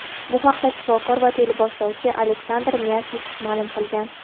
Bu haqda shifokor va teleboshlovchi Aleksandr Myasnikov ma’lum qilgan.